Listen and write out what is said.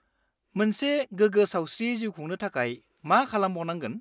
-मोनसे गोगो सावस्रियै जिउ खुंनो थाखाय मा खालामबावनांगोन?